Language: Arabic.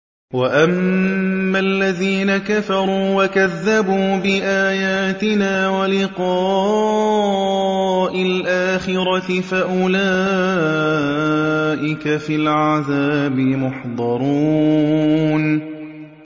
وَأَمَّا الَّذِينَ كَفَرُوا وَكَذَّبُوا بِآيَاتِنَا وَلِقَاءِ الْآخِرَةِ فَأُولَٰئِكَ فِي الْعَذَابِ مُحْضَرُونَ